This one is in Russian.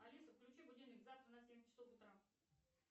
алиса включи будильник завтра на семь часов утра